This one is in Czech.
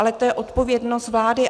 Ale to je odpovědnost vlády.